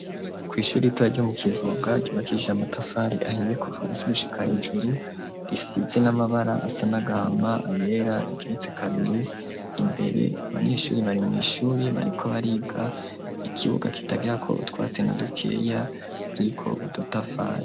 Kw'ishuri ritoya ryo mu kivoga ryubakije amatafari ahiye kuvaasigushika ijuru risize n'amabara asanagahama ayera rigeretse kabiri imbere abanyeshuri bari mu ishuri bariko bariga ikibuga kitagira ko utwatse na dukeya riko udutafari.